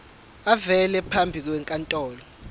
avele phambi kwenkantolo